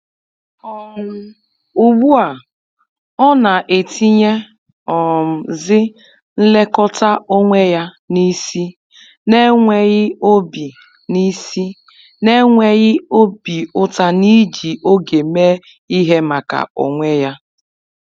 um Ugbu a, ọ na etinye um zi nlekọta onwe ya n’isi, n'enweghị obi n’isi, n'enweghị obi uta n’iji oge mee ihe maka onwe ya. um